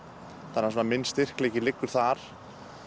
þannig að minn styrkleiki liggur þar